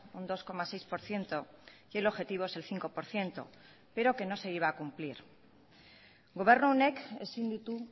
un dos coma seis por ciento y el objetivo es el cinco por ciento pero que no se iba a cumplir gobernu honek ezin ditu